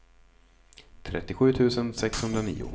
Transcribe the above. trettiosju tusen sexhundranio